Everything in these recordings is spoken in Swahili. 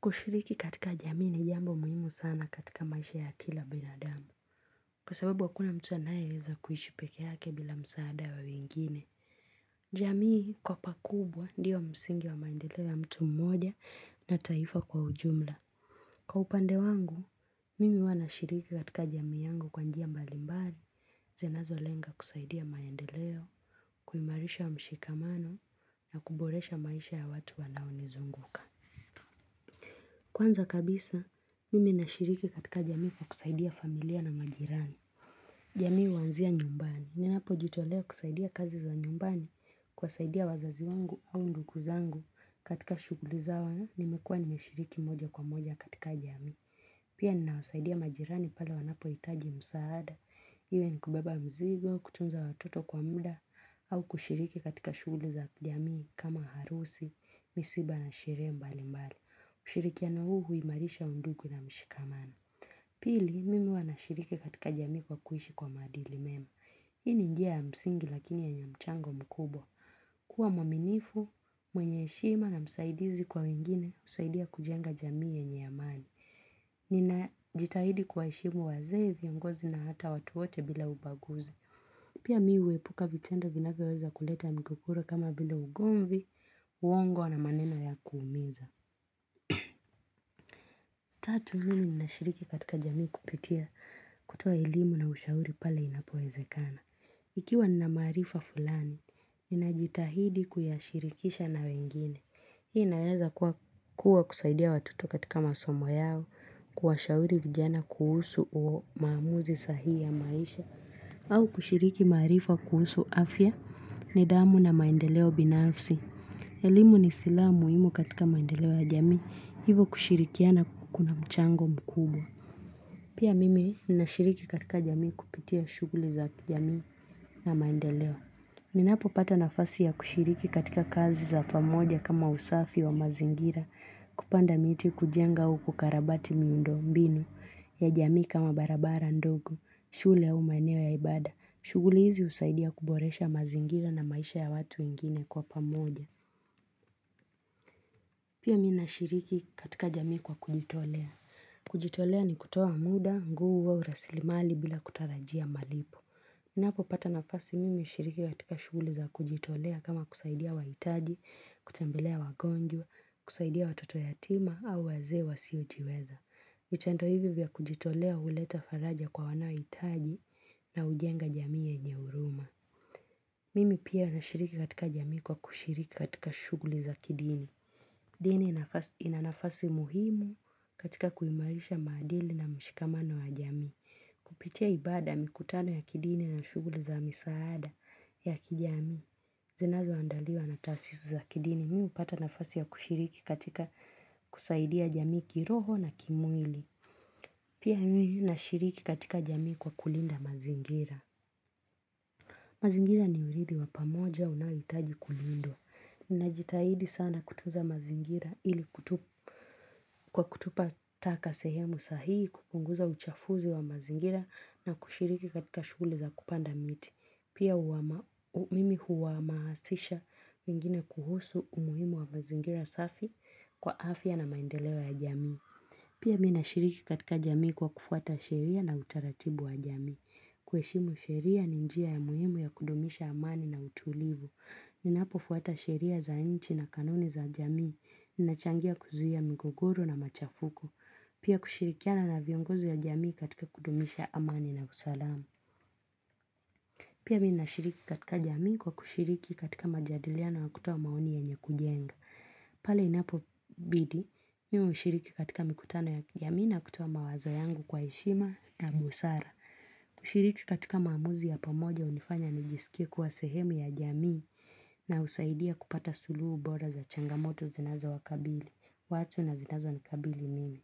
Kushiriki katika jamii ni jambo muhimu sana katika maisha ya kila binadamu. Kwa sababu hakuna mtu anayeweza kuishi peke yake bila msaada wa wengine. Jamii kwa pakubwa ndiyo msingi wa maendeleo ya mtu mmoja na taifa kwa ujumla. Kwa upande wangu, mimi huwa nashiriki katika jamii yangu kwa njia mbalimbali zinazo lenga kusaidia maendeleo, kuimarisha mshikamano na kuboresha maisha ya watu wanaonizunguka. Kwanza kabisa, mimi nashiriki katika jamii kwa kusaidia familia na majirani. Jamii huanzia nyumbani. Ninapojitolea kusaidia kazi za nyumbani kuwasaidia wazazi wangu au ndugu zangu katika shughuli zao nimekuwa nimeshiriki moja kwa moja katika jamii. Pia ninawasaidia majirani pale wanapohitaji msaada. Iwe ni kubeba mzigo, kutunza watoto kwa muda au kushiriki katika shughuli za jamii kama harusi, misiba na sherehe mbali mbali. Ushirikiano huu huimarisha undugu na mshikamano. Pili, mimi huwa nashiriki katika jamii kwa kuishi kwa maadili mema. Hii ni njia ya msingi lakini yenye mchango mkubwa. Kuwa mwaminifu, mwenye heshima na msaidizi kwa wengine husaidia kujenga jamii yenye amani. Ninajitahidi kuwa heshimu wazee viongozi na hata watu wote bila ubaguzi. Pia mi huepuka vitendo vinavyoweza kuleta migogoro kama bila ugomvi, uongo na maneno ya kuumiza. Tatu mimi nashiriki katika jamii kupitia kutoa elimu na ushauri pale inapoezekana Ikiwa na maarifa fulani, ninajitahidi kuyashirikisha na wengine Hii inaweza kuwa kusaidia watoto katika masomo yao kuwa shauri vijana kuhusu umaamuzi sahi ya maisha au kushiriki maarifa kuhusu afya, nidhamu na maendeleo binafsi elimu ni silaha muhimu katika maendeleo ya jamii, hivo kushirikiana kuna mchango mkubwa. Pia mimi nashiriki katika jamii kupitia shughuli za jamii na maendeleo. Ninapopata nafasi ya kushiriki katika kazi za pamoja kama usafi wa mazingira, kupanda miti kujenga au kukarabati miundo mbinu ya jamii kama barabara ndogo, shule au maeneo ya ibada, shughuli hizi husaidia kuboresha mazingira na maisha ya watu wengine kwa pamoja. Pia mi nashiriki katika jamii kwa kujitolea. Kujitolea ni kutoa muda, nguvu rasilimali bila kutarajia malipo. Napopata nafasi mimi hushiriki katika shughuli za kujitolea kama kusaidia wahitaji, kutembelea wagonjwa, kusaidia watoto yatima au wazee wasiojiweza. Kitendo hivi vya kujitolea huleta faraja kwa wanaohitaji na hujenga jamii yenye huruma. Mimi pia nashiriki katika jamii kwa kushiriki katika shughuli za kidini. Dini ina nafasi muhimu katika kuimarisha maadili na mshikamano wa jamii. Kupitia ibada mikutano ya kidini na shughuli za misaada ya kijamii. Zinazo andaliwa na tasisi za kidini mi hupata nafasi ya kushiriki katika kusaidia jamii kiroho na kimwili. Pia mimi nashiriki katika jamii kwa kulinda mazingira. Mazingira ni urithi wa pamoja unayohitaji kulindwa. Ninajitahidi sana kutunza mazingira ili kwa kutupa taka sehemu sahii kupunguza uchafuzi wa mazingira na kushiriki katika shule za kupanda miti. Pia mimi huwa hamasisha wengine kuhusu umuhimu wa mazingira safi kwa afya na maendeleo ya jamii. Pia mi nashiriki katika jamii kwa kufuata sheria na utaratibu wa jamii. Kuheshimu sheria ni njia ya muhimu ya kudumisha amani na utulivu. Ninapofuata sheria za nchi na kanuni za jamii. Nachangia kuzuia mgogoro na machafuko. Pia kushirikiana na viongozi wa jamii katika kudumisha amani na usalamu. Pia mi nashiriki katika jamii kwa kushiriki katika majadiliano na kutoa maoni yenye kujenga. Pale inapobidi, mimi hushiriki katika mikutano ya jamii na kutoa mawazo yangu kwa heshima na busara. Shiriki katika maamuzi ya pamoja hunifanya nijisikie kuwa sehemu ya jamii na husaidia kupata suluhu bora za changamoto zinazowakabili, watu na zinazonikabili mimi.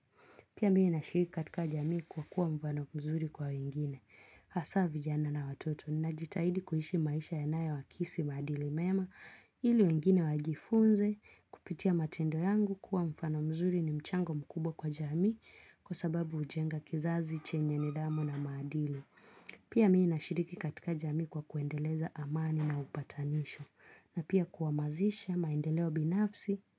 Pia mimi nashiriki katika jamii kwa kuwa mfano mzuri kwa wengine. Hasa vijana na watoto ninajitahidi kuishi maisha yanayowakisi maadili mema ili wengine wajifunze kupitia matendo yangu kuwa mfano mzuri ni mchango mkubwa kwa jamii kwa sababu hujenga kizazi chenye nidhamu na maadili. Pia mi nashiriki katika jamii kwa kuendeleza amani na upatanisho na pia kuamazisha maendeleo binafsi.